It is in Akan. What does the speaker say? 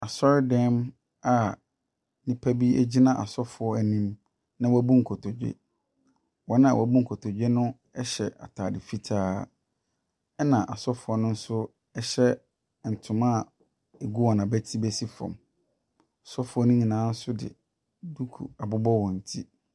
Asɔredan mu a nnipa bi gyina asɔfoɔ anim na wɔabu nkotodwe. Wɔn a wɔabu nkotodwe no hyɛ ataade fitaa, na asɔfoɔ no nso hyɛ ntoma a ɛgu hɔn abati bɛsi fam. Asɔfoɔ no nyinaa nso de duku abobɔ wɔn ti.